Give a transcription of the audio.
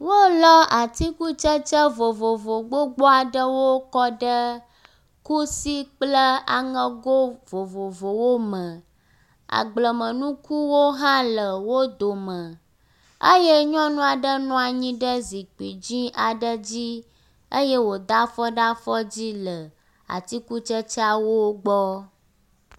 Wolɔ atikutsetse vovovo gbogbo aɖewo kɔ ɖe kusi kple aŋego vovovowo me, agblemenukuwo hã le wo dome eye nyɔnu nɔ anyi ɖe zikpui dzɛ̃ aɖe dzi eye wòda afɔ ɖe afɔ dzi le atikutsetseawo gbɔ.